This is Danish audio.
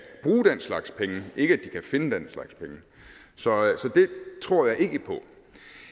bruge den slags penge ikke at de kan finde den slags penge så det tror jeg ikke på